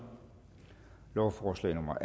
lovforslag nummer